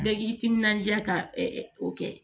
Bɛɛ k'i timinandiya ka o kɛ